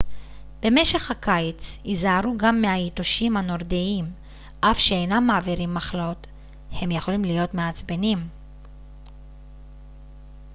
במשך הקיץ היזהרו גם מהיתושים הנורדיים אף שאינם מעבירים מחלות הם יכולים להיות מעצבנים